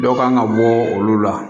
Dɔw kan ka bɔ olu la